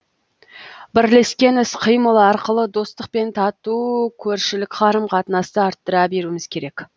бірлескен іс қимыл арқылы достық пен тату көршілік қарым қатынасты арттыра беруіміз керек